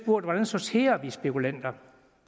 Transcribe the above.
hvordan sorterer vi spekulanter